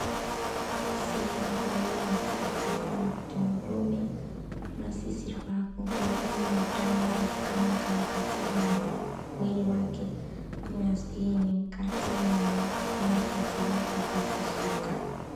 Muntu weshe ungaa mukadzi kana kuti murume ,unosisirwa kunga ane utano hwakanaka mukati mwemiri wake, kunyazwi nemukati mwenhengo dziri pakafishika.